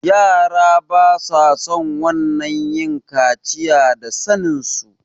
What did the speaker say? yara basason wannan yin kaciya da sanen su